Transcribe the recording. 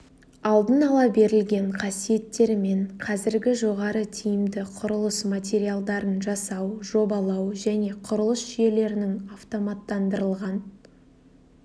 алдын ала берілген қасиеттермен қазіргі жоғары тиімді құрылыс мариалдарын жасау жобалау және құрылыс жүйелерінің автоматтандырылған